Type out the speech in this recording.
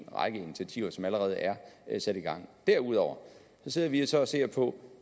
række initiativer som allerede er sat i gang derudover sidder vi så og ser på